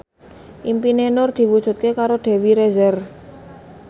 impine Nur diwujudke karo Dewi Rezer